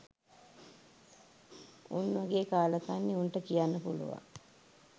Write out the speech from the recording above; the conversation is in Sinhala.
උන් වගේ කාලකන්නි උන්ට කියන්න පුළුවන්